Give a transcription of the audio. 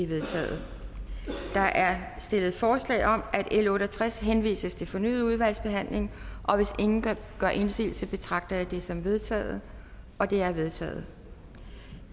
vedtaget der er stillet forslag om at l otte og tres henvises til fornyet udvalgsbehandling og hvis ingen gør indsigelse betragter jeg det som vedtaget det er vedtaget